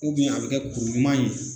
a bɛ kɛ kuru ɲuman ye